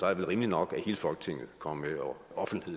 er det rimeligt nok at hele folketinget kommer